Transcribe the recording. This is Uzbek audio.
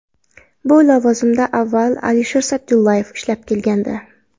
Bu lavozimda avval Alisher Sa’dullayev ishlab kelgandi.